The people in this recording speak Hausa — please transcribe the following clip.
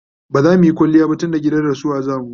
bazamuyi kwaliya ba tunda gidan rasuwa zamu